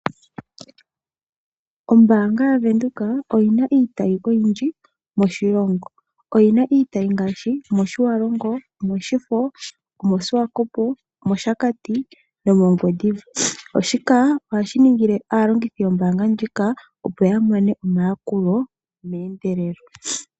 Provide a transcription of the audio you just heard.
Ombaanga yaVenduka oyi na iitayi oyindji moshilongo. Oyi na iitayi ngaashi mOtjiwarongo, omOshifo, omOshiwakopo, omOshakati nomOngwediva. Shika ohashi ningile aalongithi yombaanga ndjika, opo ya mone omayakulo meendelelo.